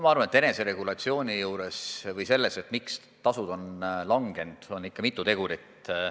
Ma arvan, et eneseregulatsiooniga või tasude vähenemisega on seotud ikka mitu tegurit.